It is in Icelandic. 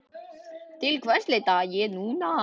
Til hvers leita ég núna?